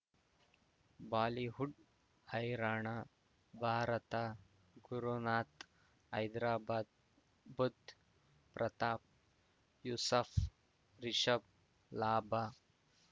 Bollywood ಹೈರಾಣ ಭಾರತ ಗುರುನಾಥ್ ಹೈದರಾಬಾದ್ ಬುಧ್ ಪ್ರತಾಪ್ ಯೂಸಫ್ ರಿಷಬ್ ಲಾಭ